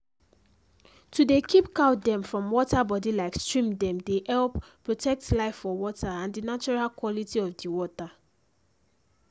to dey keep cow dem from water body like stream dem dey help protect life for water and the natural quality of the water